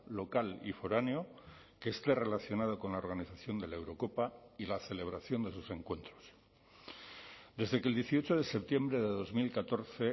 local y foráneo que esté relacionado con la organización de la eurocopa y la celebración de sus encuentros desde que el dieciocho de septiembre de dos mil catorce